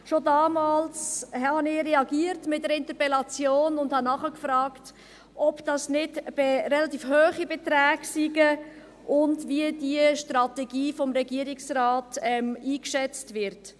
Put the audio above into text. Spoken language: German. Schon damals reagierte ich mit einer Interpellation und fragte nach, ob dies nicht relativ hohe Beträge seien und wie diese Strategie vom Regierungsrat eingeschätzt wird.